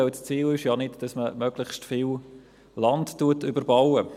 Denn das Ziel ist ja nicht, dass man möglichst viel Land überbaut.